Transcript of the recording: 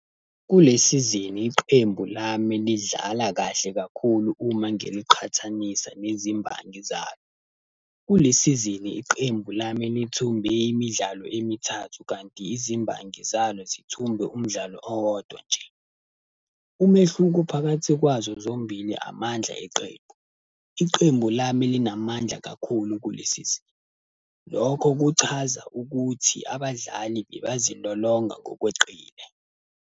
Kule sizini iqembu lami lidlala kahle kakhulu uma ngiliqhathanisa nezimbangi zalo. Kule sizini iqembu lami lithumbe imidlalo emithathu kanti izimbangi zalo zithumbe umdlalo owodwa nje. Umehluko phakathi kwazo zombili amandla eqembu. Iqembu lami linamandla kakhulu kule sizini. Lokho kuchaza ukuthi abadlali bebazilolonga ngokweqile.